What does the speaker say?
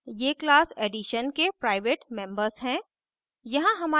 ये class addition के private members हैं